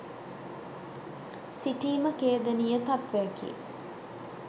සිටීම ඛේදනීය තත්වයකි.